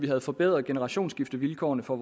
havde forbedret generationsskiftevilkårene for